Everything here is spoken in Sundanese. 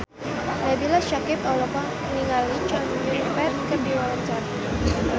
Nabila Syakieb olohok ningali Chow Yun Fat keur diwawancara